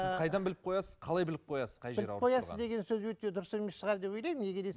сіз қайдан біліп қоясыз қалай біліп қоясыз біліп қоясыз деген сөз өте дұрыс емес шығар деп ойлаймын неге